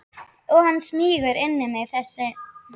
Og hann smýgur inn í mig þessi tónn.